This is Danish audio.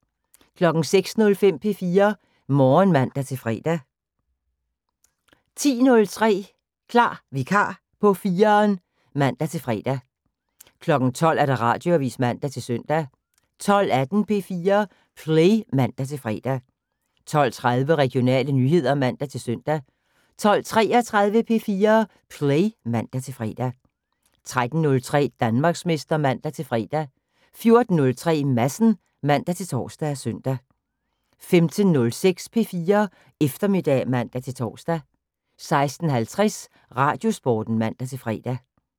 06:05: P4 Morgen (man-fre) 10:03: Klar vikar på 4'eren (man-fre) 12:00: Radioavis (man-søn) 12:18: P4 Play (man-fre) 12:30: Regionale nyheder (man-søn) 12:33: P4 Play (man-fre) 13:03: Danmarksmester (man-fre) 14:03: Madsen (man-tor og søn) 15:06: P4 Eftermiddag (man-tor) 16:50: Radiosporten (man-fre)